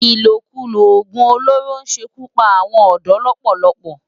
Ilókúló ógún ólóró n ṣé kú pá áwòn òdò lòpòlòpò